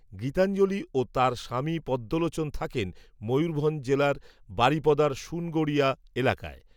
গীতাঞ্জলি ও তাঁর স্বামীপদ্মলোচন থাকেন ময়ূরভঞ্জ জেলার বারিপদার সুনগড়িয়া এলাকায়